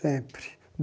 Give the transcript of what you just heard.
Sempre.